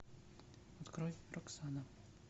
открой роксана